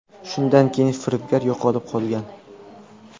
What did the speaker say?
Shundan keyin firibgar yo‘qolib qolgan.